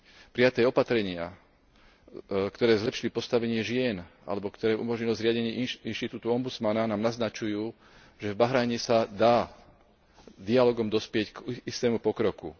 Prijaté opatrenia, ktoré zlepšili postavenie žien alebo ktoré umožnili zriadenie inštitútu ombudsmana, nám naznačujú, že v Bahrajne sa dá dialógom dospieť k istému pokroku.